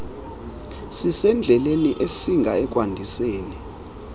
sisendleleni esinga ekwandiseni